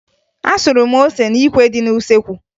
Asụrụ m ose n'ikwe dị n'usoekwu